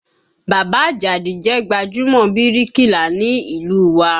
Bàbá Àjàdí jẹ́ gbajúmọ̀ bíríkìlà ní ìlú u wa